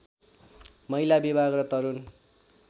महिला विभाग र तरुण